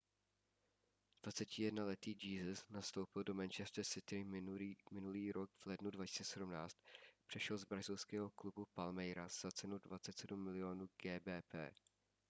21letý jesus nastoupil do manchester city minulý rok v lednu 2017. přešel z brazilského klubu palmeiras za cenu 27 mil. gbp